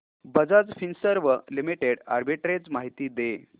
Bajaj Finserv limited arbitrage माहिती दे